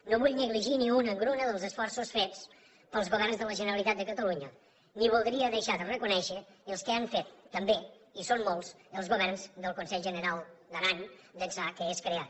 no vull negligir ni una engruna dels esforços fets pels governs de la generalitat de catalunya ni voldria deixar de reconèixer els que han fet també i són molts els governs del conselh generau d’aran d’ençà que és creat